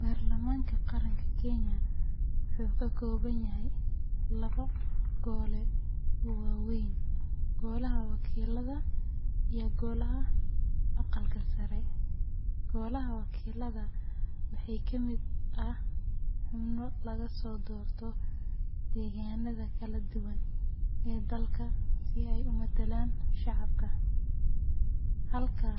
Baarlamaanka Qaranka Kenya wuxuu ka kooban yahay labo gole oo waaweyn: Golaha Wakiilada iyo Golaha Aqalka Sare. Golaha Wakiilada waxaa ka mid ah xubno laga soo doorto deegaanada kala duwan ee dalka si ay u matalaan shacabka, halka